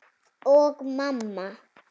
Og mamma.